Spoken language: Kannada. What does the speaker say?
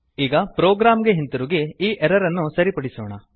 ಈಗ ಪ್ರೊಗ್ರಾಮ್ ಗೆ ಹಿಂದಿರುಗಿ ಈ ಎರರ್ ಅನ್ನು ಸರಿಪಡಿಸೋಣ